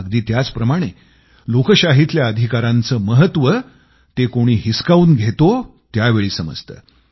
अगदी त्याचप्रमाणे लोकशाहीतल्या अधिकारांचं महत्व ते कोणी हिसकावून घेतो त्याचवेळी समजतं